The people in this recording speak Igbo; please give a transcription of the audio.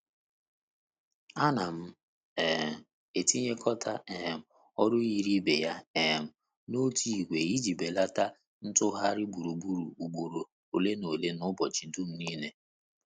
A na m um etinyekota um ọrụ yiri ibe ya um n'otu ìgwè i ji belata ntụgharị gburugburu ugboro ole n'ole n'ụbọchị dum nile.